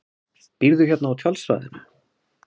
Býrðu hérna á tjaldsvæðinu?